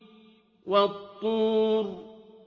وَالطُّورِ